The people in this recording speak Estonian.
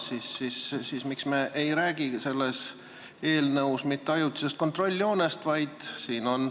Miks me siis ei räägi selles eelnõus ajutisest kontrolljoonest?